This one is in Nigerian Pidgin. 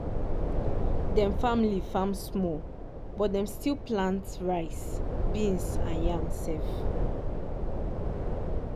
dem family farm small but dem still plant rice beans and yam self